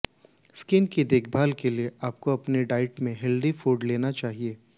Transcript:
skin की देखभाल के लिए आपको अपनी डाइट में हेल्दी फूड लेना चाहिए